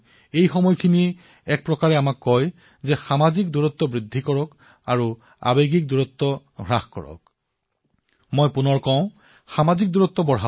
মই পুনৰবাৰ কৈছো সামাজিক ব্যৱধান বৃদ্ধি কৰক আৰু আবেগিক ব্যৱধান হ্ৰাস কৰক